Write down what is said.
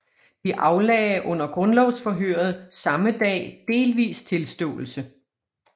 De aflagde under grundlovsforhøret samme dag delvis tilståelse